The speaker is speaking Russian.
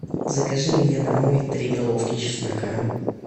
закажи мне домой три головки чеснока